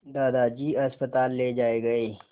दादाजी अस्पताल ले जाए गए